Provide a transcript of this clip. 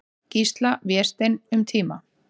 Gísla, Vésteinn, um tíma.